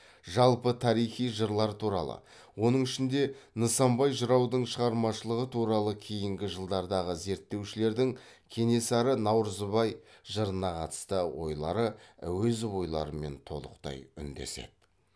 жалпы тарихи жырлар туралы оның ішінде нысанбай жыраудың шығармашылығы туралы кейінгі жылдардағы зерттеушілердің кенесары наурызбай жырына қатысты ойлары әуезов ойларымен толықтай үндеседі